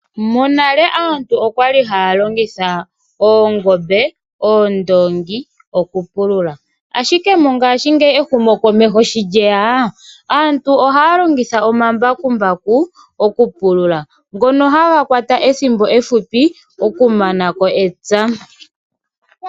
Monale aantu okwali haya longitha oongombe, oondongi okupulula. Ashike mongashingeyi ehumokomeho sho lyeya aantu ohaa longitha omambakumbaku oku pulula. Ngono haga kwata ethimbo efupi oku manako epya.